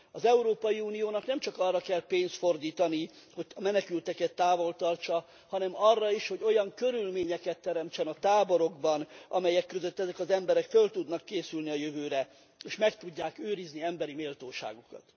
Az Európai Uniónak nem csak arra kell pénzt fordítani, hogy a menekülteket távol tartsa, hanem arra is, hogy olyan körülményeket teremtsen a táborokban, amelyek között ezek az emberek föl tudnak készülni a jövőre és meg tudják őrizni emberi méltóságukat.